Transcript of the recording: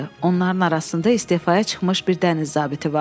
Onların arasında istefaya çıxmış bir dəniz zabiti vardı.